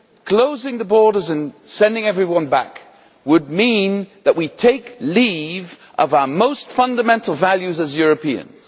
Closing the borders and sending everyone back would mean that we take leave of our most fundamental values as Europeans.